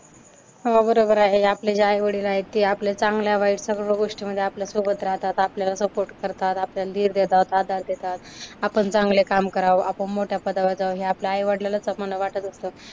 हो बरोबर आहे. आपले जे आई-वडील आहेत ते आपल्या चांगल्या वाईट सगळ्या गोष्टीमध्ये आपल्या सोबत राहतात. आपल्याला सपोर्ट करतात. आपल्याला धीर देतात. आधार देतात. आपण चांगले काम करावं, आपण मोठ्या पदावर जावं हे आपल्या आई-वडलालाच वाटत असतं.